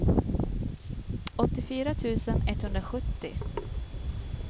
åttiofyra tusen etthundrasjuttio